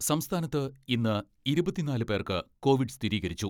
സംസ്ഥാനത്ത് ഇന്ന് ഇരുപത്തിനാല് പേർക്ക് കോവിഡ് സ്ഥിരീകരിച്ചു.